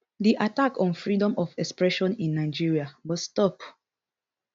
di attack on freedom of expression in nigeria must stop